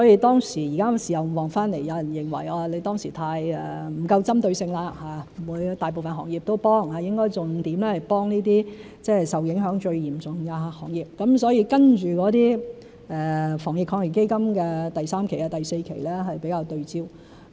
現時事後回看，有人認為當時不夠針對性，不應大部分行業都幫忙，應該重點支援一些受影響最嚴重的行業，所以接着的防疫抗疫基金第三期、第四期是比較對焦。